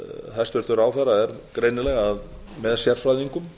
hæstvirtur ráðherra er greinilega með sérfræðingum